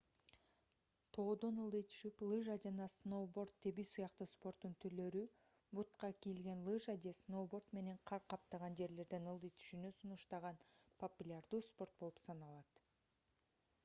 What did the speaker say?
тоодон ылдый түшүп лыжа жана сноуборд тебүү сыяктуу спорттун түрлөрү бутка кийилген лыжа же сноуборд менен кар каптаган жерлерден ылдый түшүүнү сунуштаган популярдуу спорт болуп саналат